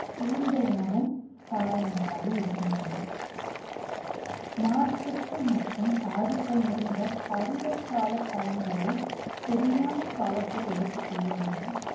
தூரித உணவும், காரணங்களாக இருக்கின்றது. நார்ச்சத்து மற்றும் தாதுக்கள் நிறைந்த பருவ கால பழங்களை சரியான காலத்தில் எடுத்துக் கொள்ள வேண்டும்